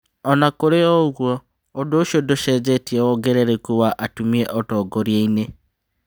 Ona kũrĩ o ũguo, ũndũ ũcio ndũcenjetie wongerereku wa atumia ũtongoria-inĩ.